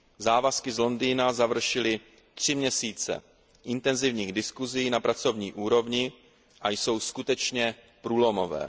Závazky z Londýna završily tři měsíce intenzivních diskusí na pracovní úrovni a jsou skutečně průlomové.